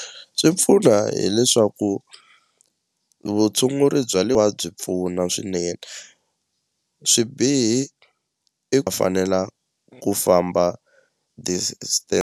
Swi pfuna hileswaku vutshunguri bya le byi pfuna swinene swibihi fanelanga ku famba .